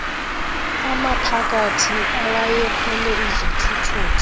amaphakathi awayekhwele izithuthuthu